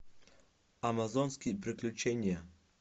амазонские приключения